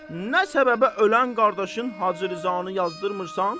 Nə səbəbə ölən qardaşın Hacı Rzanı yazdırmırsan?